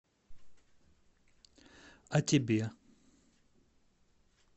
а тебе